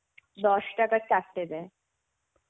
দশ টাকায় চার টে দেয়.